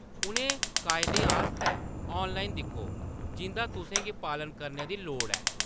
उ'नें कायदें आस्तै ऑनलाइन दिक्खो जिंʼदा तुसें गी पालन करने दी लोड़ ऐ।